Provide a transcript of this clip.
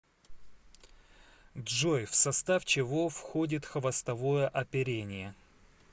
джой в состав чего входит хвостовое оперение